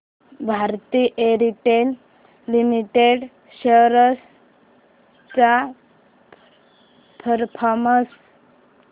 Bharti Airtel limited shares चा performance